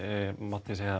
mætti segja